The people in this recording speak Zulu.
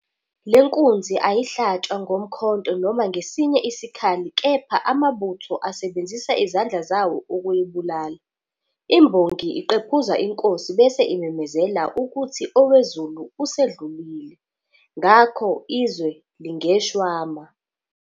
Le nkunzi ayihlatshwa ngomkhonto noma ngesinye isikhali kepha amabutho asebenzisa izandla zawo ukuyibulala. Imbongi iqephuza inkosi bese imemezela ukuthi owezulu usedlile, ngakho izwe lingeshwama.